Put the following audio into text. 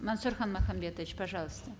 мансұрхан махамбетович пожалуйста